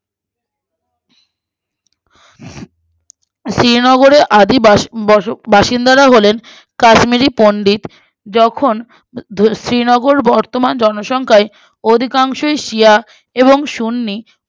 শ্রীনগরের আদিবাসীন বসো বাসিন্দারা হলেন কাশ্মীরি পন্ডিত যখুন শ্রীনগর বর্তমান জনসংখ্যাই অধিকাংশই সিয়া এবং সুন্নী